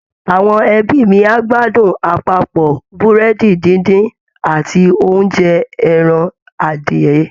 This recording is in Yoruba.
Àwọn ẹbí mi á gbádùn àpapọ̀ Búrẹ́dì díndín àti oúnjẹ ẹran adìyẹ